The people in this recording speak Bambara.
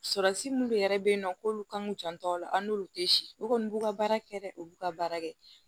Sɔrɔsi mun de yɛrɛ be yen nɔ k'olu kan ŋ'u janto a la a n'olu te si u kɔni b'u ka baara kɛ dɛ u b'u ka baara kɛ